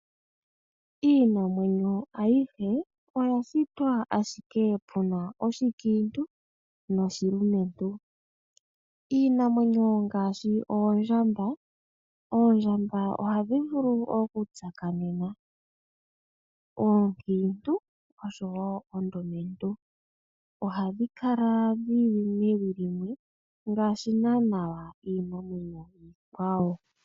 Iinamwenyo ayihe oya shitwa ashike pu na oshikiintu noshilumentu. Iinamwenyo ngashi oondjamba ohadhi vulu okutsakanena oonkintu nosho woo oondumentu , ohadhi kala dhili mewi limwe ngaashi iinamwenyo iikwawo.